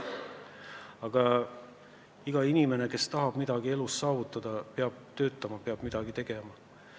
Aga iga inimene, kes tahab midagi elus saavutada, peab töötama, peab midagi tegema.